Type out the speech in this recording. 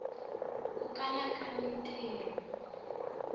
ku kala ka mintiho